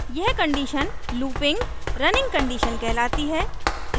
यह condition looping running condition कहलाती है